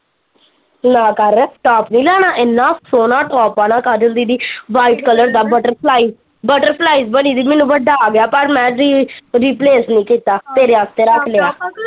ਨਾ ਕਰ ਟੋਪ ਨੀ ਲੈਣਾ ਏਨਾ ਸੋਹਣਾ ਟਾਪ ਆਣਾ ਕਾਜਲ ਦੀਦੀ ਵਾਈਟ ਕਲਰ ਦਾ ਬੱਟਰਫਲਾਈ ਬੱਟਰਫਲਾਈਜ਼ ਬਣੀ ਦੀ ਮੈਨੂੰ ਵੱਡਾ ਆ ਗਿਆ ਪਰ ਮੈਂ ਕਿਹਾ ਰੀ ਰਿਪਲੇਸ ਨਹੀਂ ਕੀਤਾ ਤੇਰੇ ਵਾਸਤੇ ਰੱਖ ਲਿਆ।